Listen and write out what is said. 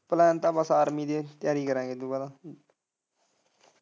plan ਤਾਂ ਬਸ army ਦੇ study ਕਰਾਂਗੇ ਦੁਬਾਰਾ।